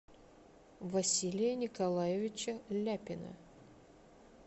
василия николаевича ляпина